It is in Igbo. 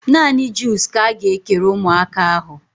Naanị juus ka a ga-ekere ụmụaka ahụ